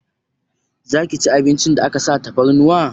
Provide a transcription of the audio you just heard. Zaki ci abincin da aka sa tafarnuwa?